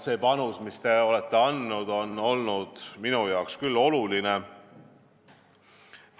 See panus, mis te olete andnud, on olnud minule küll oluline.